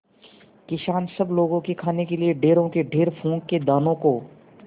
किसान सब लोगों के खाने के लिए ढेरों के ढेर पोंख के दानों को